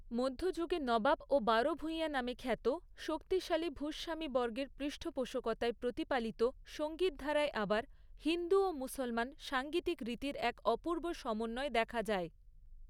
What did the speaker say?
মধ্যযুগে নবাব ও বারো ভূঁইয়া নামে খ্যাত, শক্তিশালী ভূস্বামীবর্গের পৃষ্ঠপোষকতায় প্রতিপালিত সঙ্গীতধারায় আবার হিন্দু ও মুসলমান সাংগীতিক রীতির এক অপূর্ব সমন্বয় দেখা যায়।